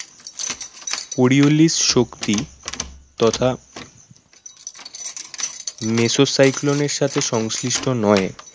শক্তি তথা meso cyclone সাথে সংশ্লিষ্ট নয়